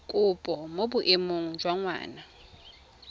kopo mo boemong jwa ngwana